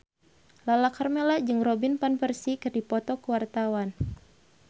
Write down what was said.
Lala Karmela jeung Robin Van Persie keur dipoto ku wartawan